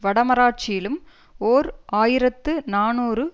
வடமராட்சியிலும் ஓர் ஆயிரத்து நாநூறு